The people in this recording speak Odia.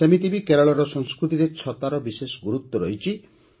ସେମିତି ବି କେରଳର ସଂସ୍କୃତିରେ ଛତାର ବିଶେଷ ଗୁରୁତ୍ୱ ରହିଛି